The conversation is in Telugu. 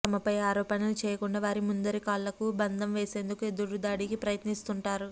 తమపై ఆరోపణలు చేయకుండా వారి ముందరి కాళ్లకు బంధం వేసేందుకు ఎదురుదాడికి ప్రయత్నిస్తుంటారు